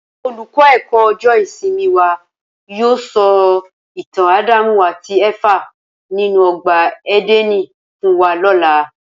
Olùkọ́ ẹ̀kọ́ ọjọ́ ìsinmi wa yóò sọ ìtàn Ádámù àti Éfà nínú ọgbà Édẹ́nì fún wa lọ́la